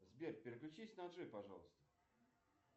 сбер переключись на джой пожалуйста